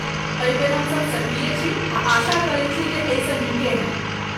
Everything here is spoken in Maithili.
एहि बेर हमसभ सक्रिय छी आ आशा करैत छी जे एहिसँ नीके होयत।